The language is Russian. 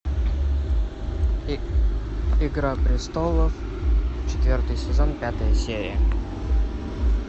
игра престолов четвертый сезон пятая серия